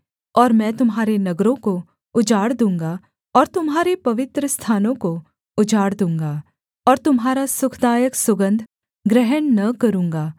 और मैं तुम्हारे नगरों को उजाड़ दूँगा और तुम्हारे पवित्रस्थानों को उजाड़ दूँगा और तुम्हारा सुखदायक सुगन्ध ग्रहण न करूँगा